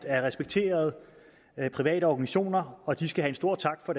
er respekterede private organisationer og de skal have stor tak og